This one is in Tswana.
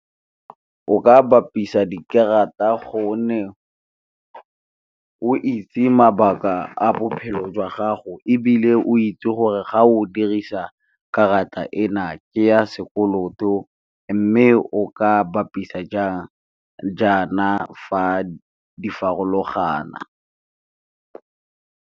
O ka bapisa dikarata gonne o itse mabaka a bophelo jwa gago, ebile o itse gore ga o dirisa karata ke ya sekoloto, mme o ka bapisa jang jaana fa di farologana.